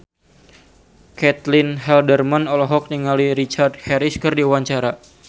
Caitlin Halderman olohok ningali Richard Harris keur diwawancara